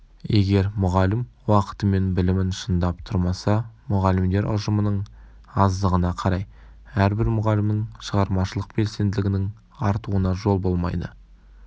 егер мұғалім уақытымен білімін шыңдап тұрмаса мұғалімдер ұжымының аздығына қарай әрбір мұғалімнің шығармашылық белсенділігінің артуына жол болмайды